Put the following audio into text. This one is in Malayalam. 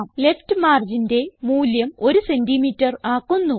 ലെഫ്റ്റ് marginന്റെ മൂല്യം 100സിഎം ആക്കുന്നു